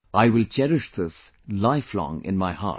I will cherish this lifelong in my heart